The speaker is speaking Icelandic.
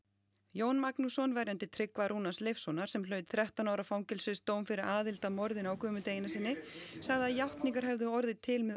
Jón Magnússon verjandi Tryggva Rúnars Leifssonar sem hlaut þrettán ára fangelsisdóm fyrir aðild að morðinu á Guðmundi Einarssyni sagði að játningar hefðu orðið til með